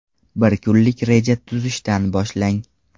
Bir kunlik reja tuzishdan boshlang.